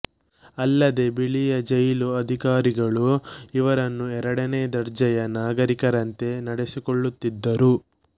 ಅಲ್ಲದೇ ಬಿಳಿಯ ಜೈಲು ಅಧಿಕಾರಿಗಳು ಇವರನ್ನು ಎರಡನೆ ದರ್ಜೆಯ ನಾಗರಿಕರಂತೆ ನಡೆಸಿಕೊಳ್ಳುತ್ತಿದ್ದರು